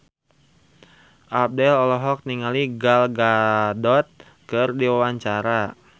Abdel olohok ningali Gal Gadot keur diwawancara